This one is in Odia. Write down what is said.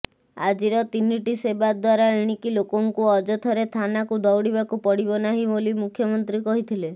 ଆଜିର ତିନିଟି ସେବା ଦ୍ବାରା ଏଣିକି ଲୋକଙ୍କୁ ଅଯଥାରେ ଥାନାକୁ ଦୌଡ଼ିବାକୁ ପଡ଼ିବ ନାହିଁ ବୋଲି ମୁଖ୍ୟମନ୍ତ୍ରୀ କହିଥିଲେ